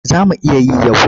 Za mu iya yi yau.